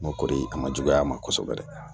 N'o ko a ma juguya a ma kosɛbɛ dɛ